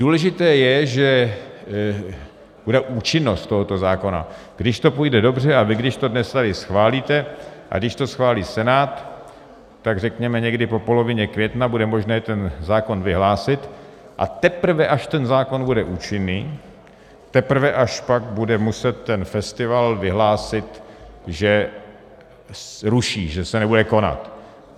Důležité je, že bude účinnost tohoto zákona - když to půjde dobře a vy když to dnes tady schválíte a když to schválí Senát, tak řekněme někdy po polovině května bude možné ten zákon vyhlásit, a teprve až ten zákon bude účinný, teprve až pak bude muset ten festival vyhlásit, že ruší, že se nebude konat.